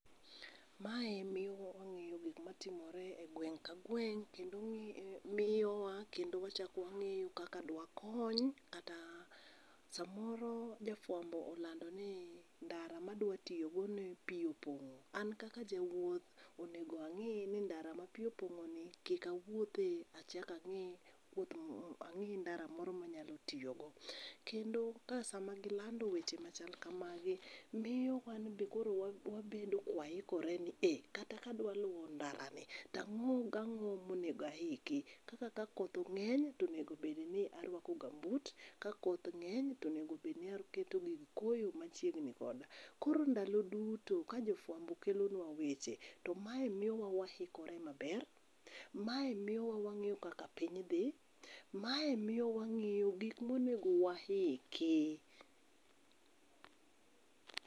Mae miyo wangeyo gikma timore e gweng ka gweng kendo miyowa kendo wachak wangeyo kaka dwakony kata samoro jafuambo olando ni ndara madwa tiyogo ne pii opongo, an kaka jawuoth onego ang'i ni ndara ma pii opongo ni kik awuothe, achak ang'i wuoth, ang'i ndara moro manyalo tiyo go. Kendo sama gilando weche machal kamagi, miyo wanbe koro wabedo ka waikore ni iii, kata ka adwa luo ndara ni to ang'o gi ang'o monego aiki, kwanza ka koth ngeny to onego obed n aruako gambut, ka koth ngeny onego obed ni aketo gik koyo machiegni koda. Koro ndalo duto ka jofuambo kelonwa weche, to mae miyowa waikore maber, mae miyo wangeyo kaka piny dhi, mae miyo wangeyo gik monego waiki